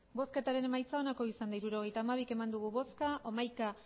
hirurogeita hamabi eman dugu bozka hamaika